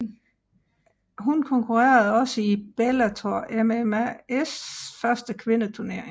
Hun konkurrerede også i Bellator MMAs første kvindeturnering